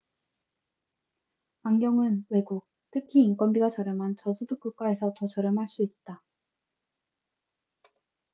안경은 외국 특히 인건비가 저렴한 저소득 국가에서 더 저렴할 수 있다